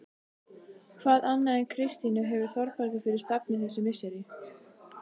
Hvað annað en Kristínu hefur Þórbergur fyrir stafni þessi misseri?